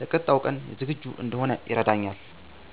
ለቀጣዩ ቀን ዝግጁ እንድሆን ይረዳኛል።